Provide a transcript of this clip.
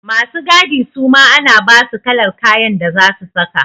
Masu gadi suma ana basu kalar kayan da zasu saka.